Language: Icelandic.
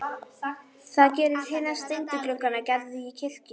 Það gera hinir steindu gluggar Gerðar í kirkjunni líka.